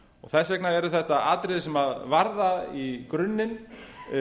þess vegna eru þetta atriði sem varða í grunninn